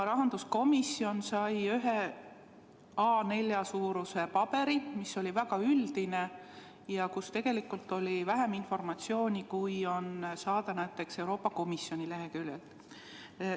Rahanduskomisjon sai ühe A4 suuruses paberi, mis oli väga üldine ja kus tegelikult oli vähem informatsiooni, kui on saada näiteks Euroopa Komisjoni leheküljelt.